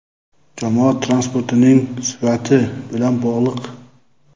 jamoat transportining sifati bilan bog‘liq.